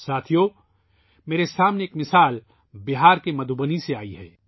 بہار کے مدھوبنی سے میرے سامنے ایک مثال آئی ہے